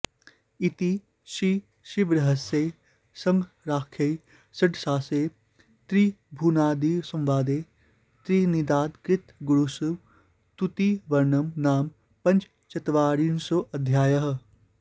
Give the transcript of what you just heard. इति श्रीशिवरहस्ये शङ्कराख्ये षष्ठांशे ऋभुनिदाघसंवादे निदाघकृतगुरुस्तुतिवर्णनं नाम पञ्चचत्वारिंशोऽध्यायः